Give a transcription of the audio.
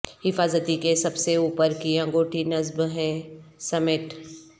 حفاظتی کے سب سے اوپر کی انگوٹی نصب ہیں سمیٹ